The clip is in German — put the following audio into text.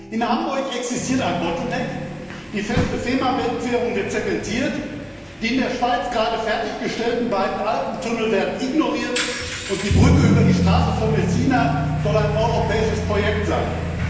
In Hamburg existiert ein Engpass, die feste Fehmarnbelt Querung wird zementiert, die in der Schweiz gerade fertig gestellten beiden Alpentunnel werden ignoriert, und die Brücke über die Straße von Messina soll ein europäisches Projekt sein.